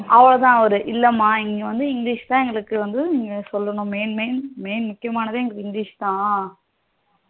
அவளோதான் அவரு இல்ல மா இங்க வந்து english தான் இங்க வந்து சொல்லணும் main main main முக்கியமானதே இங்க english தான்